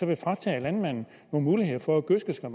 vil fratage landmanden nogle muligheder for at gødske så